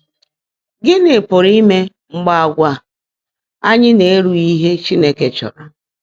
Gị́ní pụ́rụ́ íme mgbe àgwà ányị́ ná-èrùghị́ íhe Chínekè chọ́ọ́ró?